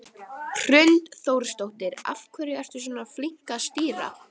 Hrund Þórsdóttir: Af hverju ertu svona flink að stýra?